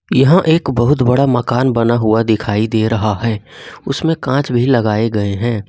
यहां एक बहुत बड़ा मकान बना हुआ दिखाई दे रहा है उसमें कांच भी लगाए गए हैं।